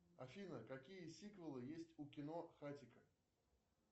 афина какие сиквелы есть у кино хатико